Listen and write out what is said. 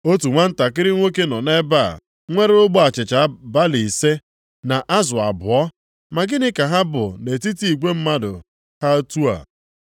“Otu nwantakịrị nwoke nọ nʼebe a nwere ogbe achịcha balị ise, na azụ abụọ, ma gịnị ka ha bụ nʼetiti igwe mmadụ ha otu a?”